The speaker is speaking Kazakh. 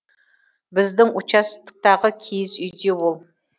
біздің участоктағы киіз үйде ол